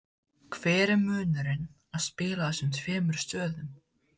Hver er munurinn að spila á þessum tveimur stöðum?